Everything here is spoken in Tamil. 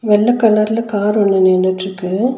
வெள்ள கலர்ல கார் ஒன்னு நின்னுட்ருக்கு.